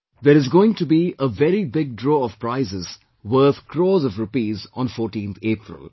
There is going to be a very big draw of prizes worth crores of rupees on 14th April